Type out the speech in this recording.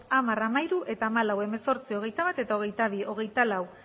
hamar hamairu eta hamalau hemezortzi hogeita bat eta hogeita bi hogeita lau